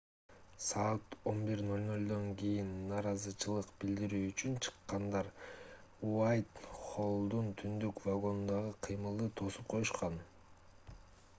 саат 11:00 кийин нааразычылык билдирүү үчүн чыккандар уайтхоллдун түндүк вагонундагы кыймылды тосуп коюшкан